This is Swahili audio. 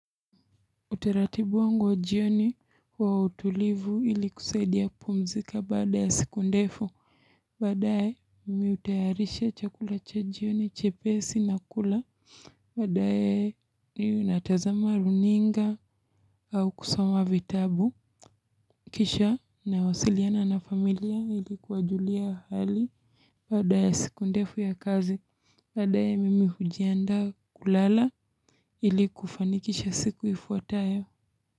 Utaratibu wangu wa jioni wa utulivu, ili kusaidia kupumzika baada ya siku ndefu. Badaye, mimi hutayarisha chakula cha jioni, chepesi na kula. Badaye, mi natazama runinga au kusoma vitabu. Kisha na wasiliana na familia ili kuwajulia hali baada ya siku ndefu ya kazi. Baadaye, mimi hujiandaa kulala, ili kufanikisha siku ifuatayo.